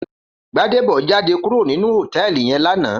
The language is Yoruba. Gbadebo jàdé kúró ninú hótèlí yèn làná